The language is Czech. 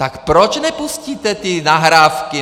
Tak proč nepustíte ty nahrávky?